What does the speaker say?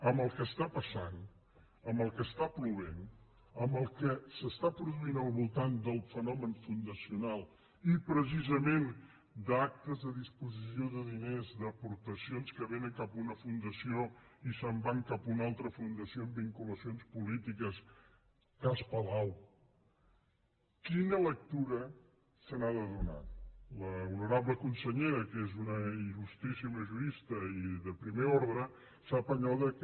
amb el que passa amb el que plou amb el que es produeix al voltant del fenomen fundacional i preci·sament d’actes de disposició de diners d’aportacions que vénen cap a una fundació i se’n van cap a una altra fundació amb vinculacions polítiques cas palau qui·na lectura se n’ha de fer l’honorable consellera que és una ili de primer ordre sap allò que